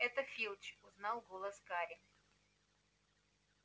это филч узнал голос гарри